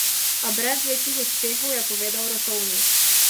A brez večjih uspehov, je povedal Rotovnik.